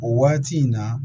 O waati in na